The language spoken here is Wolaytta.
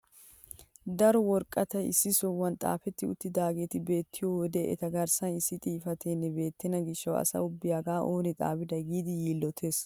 Daro woraqatati issi sohuwaan xaafetti uttidaageti beettiyo wode eta garssan issi xifateenne beettena gishshawu asa ubbay hagaa oonee xaafiday giidi yiillotees!